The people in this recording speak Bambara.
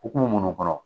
Hokumu munnu kɔnɔ